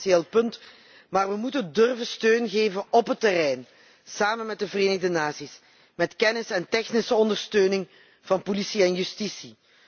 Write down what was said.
Het is een essentieel punt maar we moeten steun durven geven op het terrein, samen met de Verenigde Naties, met kennis en technische ondersteuning van politie en justitie.